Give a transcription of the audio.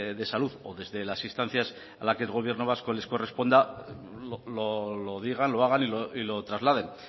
de salud o desde las instancias a la que el gobierno vasco le corresponda lo digan lo hagan y lo trasladen